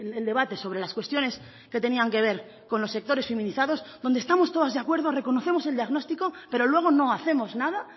el debate sobre las cuestiones que tenían que ver con los sectores feminizados donde estamos todas de acuerdo reconocemos el diagnóstico pero luego no hacemos nada